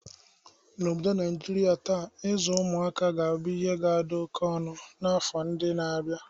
N'obodo Niajria taa, ịzụ ụmụaka ga-abụ ihe oke ọnụ n'afọ ndị na-abia..